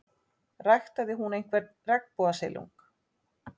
Ræktaði hún einhvern regnbogasilung?